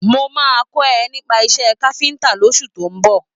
Mo máa kọ́ ẹ nípa iṣé káfíntà lóṣù tó ń bọ̀.